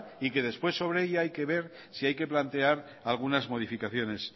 y que después sobre ella hay que ver si hay que plantear algunas modificaciones